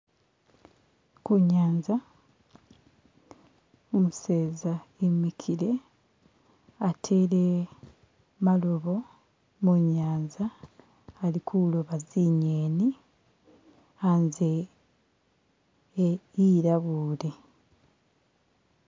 Kunyanza, umuseza imikile, atele malobo munyanza, alikuloba zinyeni, anze ilabule.